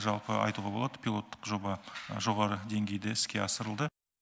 жалпы айтуға болады пилоттық жоба жоғары денгейде іске асырылды